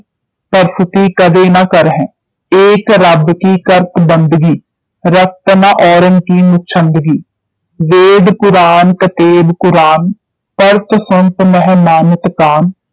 ਪਰਸਤੀ ਕਦੇ ਨ ਕਰਹੈਂ ਇਕ ਰੱਬ ਕਿ ਕਰਤ ਬੰਦਗੀ ਰਖ਼ਤ ਨ ਔਰਨ ਕਿ ਮੁਛੰਦਗੀ ਵੇਦ ਕੁਰਾਨ ਕਤੇਬ ਪੁਰਾਨ ਪੜ੍ਹਤ ਸੁਨਤ ਨਹਿ ਮਾਨਤ ਕਾਨ